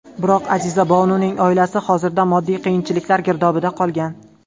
Biroq, Azizabonuning oilasi hozirda moddiy qiyinchiliklar girdobida qolgan.